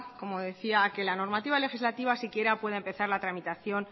como decía a que la normativa legislativa siquiera pueda empezar la tramitación